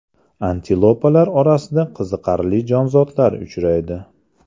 Antilopalar orasida qiziqarli jonzotlar uchraydi.